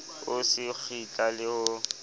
o se kgitla le ho